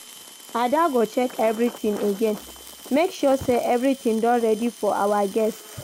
Ada go check everything again, make sure say everything don ready for our guests.